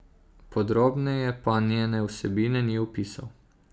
Podrobneje pa njene vsebine ni opisoval.